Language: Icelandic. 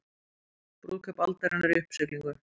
Brúðkaup aldarinnar í uppsiglingu